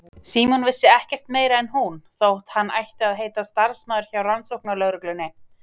Símon vissi ekkert meira en hún, þótt hann ætti að heita starfsmaður hjá rannsóknarlögreglunni.